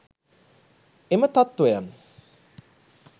එම තත්වයන්